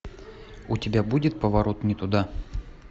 у тебя будет поворот не туда